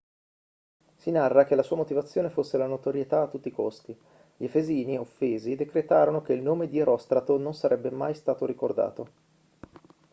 si narra che la sua motivazione fosse la notorietà a tutti i costi gli efesini offesi decretarono che il nome di erostrato non sarebbe mai stato ricordato